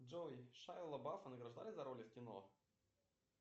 джой шайа лабафа награждали за роли в кино